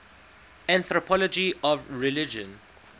anthropology of religion